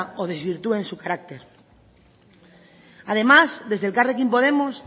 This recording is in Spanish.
o desvirtúen su carácter además desde elkarrekin podemos